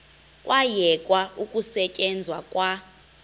kwayekwa ukusetyenzwa kwa